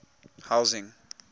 housing